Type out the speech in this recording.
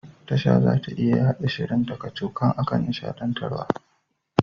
Tasha zata iya yaɗa shirin ta kacokan akan nishaɗantarwa.